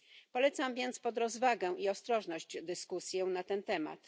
Zalecam więc rozwagę i ostrożność w dyskusji na ten temat.